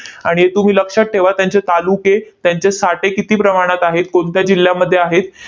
आणि तुम्ही लक्षात ठेवा, त्यांचे तालुके, त्यांचे साठे किती प्रमाणात आहेत, कोणत्या जिल्ह्यांमध्ये आहेत?